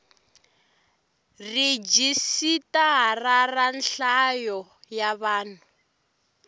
rhijisitara ra nhlayo ya vanhu